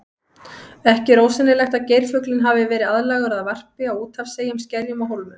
Ekki er ósennilegt að geirfuglinn hafi verið aðlagaður að varpi á úthafseyjum, skerjum og hólmum.